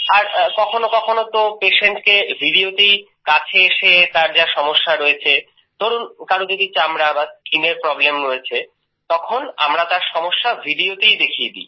আর কখনো কখনো তো patientকে videoতেই কাছে এসে তার যা সমস্যা রয়েছে ধরুন কারুর যদি চামড়ার কোন প্রব্লেম হয়েছে skinএর প্রব্লেম হয়েছে তখন আমরা তার সমস্যা videoতেই দেখিয়ে দি